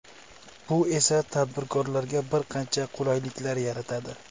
Bu esa tadbirkorlarga bir qancha qulayliklar yaratadi.